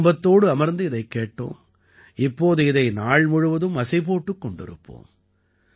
குடும்பத்தோடு அமர்ந்து இதைக் கேட்டோம் இப்போது இதை நாள்முழுவதும் அசை போட்டுக் கொண்டிருப்போம்